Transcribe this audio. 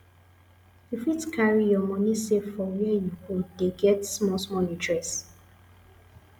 you fit carry your money save for where you go dey get small small interest